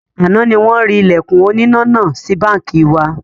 Àná ni wọn rí Ìlẹ̀kùn oníná náà sì báńkì wa